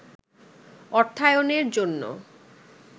অর্থায়নের জন্য